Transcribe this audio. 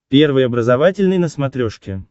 первый образовательный на смотрешке